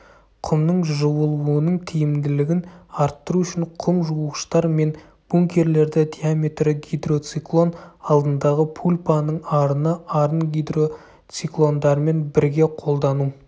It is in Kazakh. құмның жуылуының тиімділігін арттыру үшін құм жуғыштар мен бункерлерді диаметрі гидроциклон алдындағы пульпаның арыны арын гидроциклондармен бірге қолдану